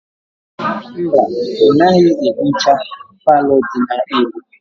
Mba, ọ naghị ehicha palọ dị n'elu.